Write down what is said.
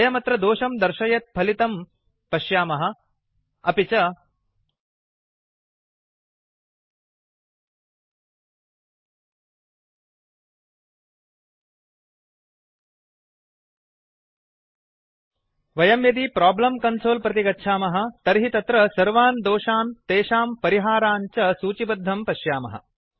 वयमत्र दोषं दर्शयत् फलितं पश्यामः अपि च वयं यदि प्रोब्लम् कन्सोल् प्रति गच्छामः तर्हि तत्र सर्वान् दोषान् तेषां परिहारान् च सूचिबद्धं पश्यामः